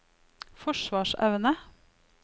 forsvarsevne